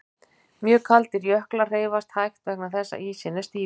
Mjög kaldir jöklar hreyfast hægt vegna þess að ísinn er stífur.